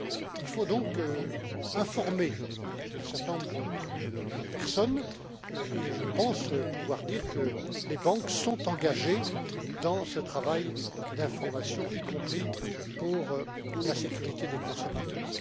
Il faut donc informer un certain nombre de personnes et je pense pouvoir dire que les banques sont engagées dans ce travail d'information, y compris pour la sécurité des consommateurs.